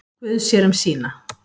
Guð sér um sína.